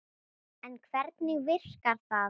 En hvernig virkar það?